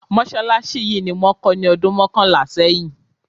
Mọ́ṣálásí yìí ni wón kó ní ọdún mọ́kànlá sẹ́yìn.